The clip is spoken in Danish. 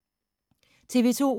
TV 2